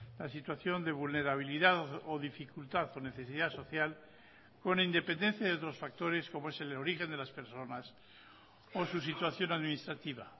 la situación de vulnerabilidad o dificultad o necesidad social con independencia de otros factores como es el origen de las personas o su situación administrativa